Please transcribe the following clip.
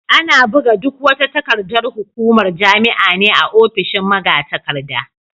Ana buga duk wata takardar hukumar jami'a ne a ofishin magatakarda.